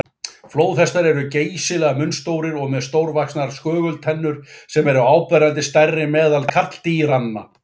Flóðhestar eru geysilega munnstórir og með stórvaxnar skögultennur sem eru áberandi stærri meðal karldýranna.